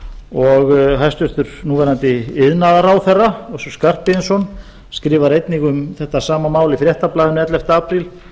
og hæstvirtur núverandi iðnaðarráðherra össur skarphéðinsson skrifar einnig um þetta sama mál í fréttablaðinu ellefta apríl